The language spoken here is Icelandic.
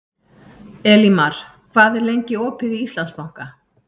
Elímar, hvað er lengi opið í Íslandsbanka?